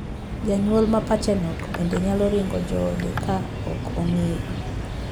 Janyuol ma pache nokbende nyalo ringo joode ka ok ong'eyo.